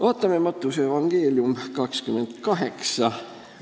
Vaatame Matteuse evangeeliumi 28. peatükki.